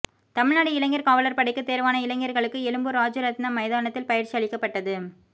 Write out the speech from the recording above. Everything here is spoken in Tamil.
தமிழ்நாடு இளைஞர் காவலர் படைக்கு தேர்வான இளைஞர்களுக்கு எழும்பூர் ராஜரத்தினம் மைதானத்தில் பயிற்சி அளிக்கப்பட்டது